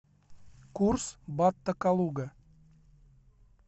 курс бата калуга